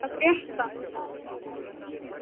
Hólmbert, hvað er að frétta?